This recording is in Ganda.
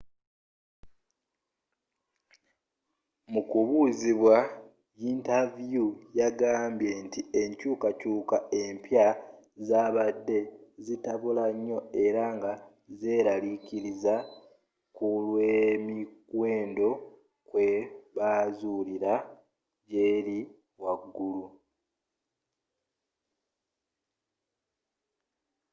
mu kubuuzibwa yintavyu yagambye nti enkyuukakyuuka empya zaabadde zitabula nnyo era nga zeeralikiriza kulwemiwendo kwebuzaalira jeri waggulu.